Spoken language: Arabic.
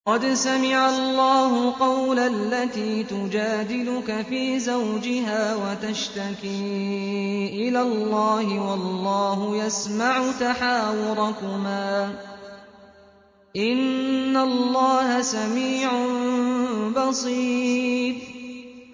قَدْ سَمِعَ اللَّهُ قَوْلَ الَّتِي تُجَادِلُكَ فِي زَوْجِهَا وَتَشْتَكِي إِلَى اللَّهِ وَاللَّهُ يَسْمَعُ تَحَاوُرَكُمَا ۚ إِنَّ اللَّهَ سَمِيعٌ بَصِيرٌ